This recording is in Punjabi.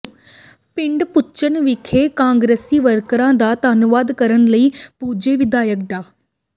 ਪਿੰਡ ਭੁੱਚਰ ਵਿਖੇ ਕਾਂਗਰਸੀ ਵਰਕਰਾਂ ਦਾ ਧੰਨਵਾਦ ਕਰਨ ਲਈ ਪੁੱਜੇ ਵਿਧਾਇਕ ਡਾ